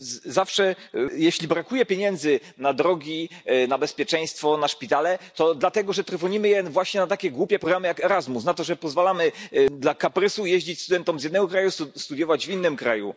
Zawsze jeśli brakuje pieniędzy na drogi, na bezpieczeństwo, na szpitale, to dlatego że trwonimy je właśnie na takie głupie programy jak Erasmus i że pozwalamy dla kaprysu jeździć studentom z jednego kraju studiować w innym kraju.